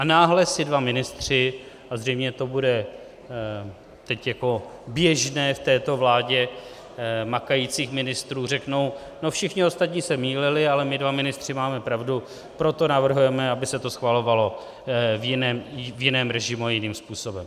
A náhle si dva ministři - a zřejmě to bude teď jako běžné v této vládě makajících ministrů - řeknou no, všichni ostatní se mýlili, ale my dva ministři máme pravdu, proto navrhujeme, aby se to schvalovalo v jiném režimu a jiným způsobem.